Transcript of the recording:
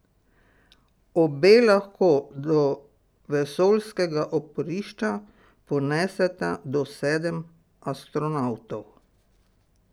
Obe lahko do vesoljskega oporišča poneseta do sedem astronavtov.